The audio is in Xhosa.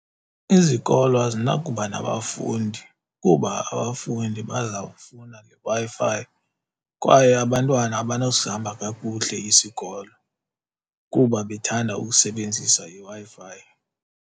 Izikolo azinakuba nabafundi kuba abafundi bazawufuna ngeWi-Fi kwaye abantwana abanawusihamba kakuhle isikolo kuba bethanda ukusebenzisa iWi-Fi.